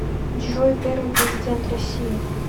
джой первый президент россии